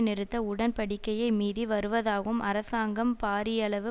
நிறுத்த உடன்படிக்கையை மீறி வருவதாகவும் அரசாங்கம் பாரியளவு